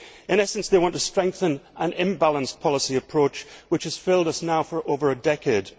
In essence, they want to strengthen an imbalanced policy approach which has failed us now for over a decade.